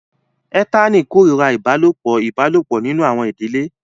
Ethani kórìíra ìbálòpọ̀ ìbálòpọ̀ nínú àwọn ìdílé